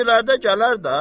İndilərdə gələr də.